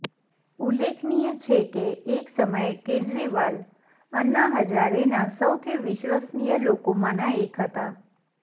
ઉલ્લેખનીય છે કે એક સમયે કેજરીવાલ અન્ના હઝારેના સૌથી વિશ્વસનીય લોકોમાંના એક હતા